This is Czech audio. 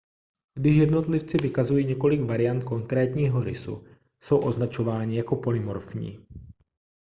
když jednotlivci vykazují několik variant konkrétního rysu jsou označováni jako polymorfní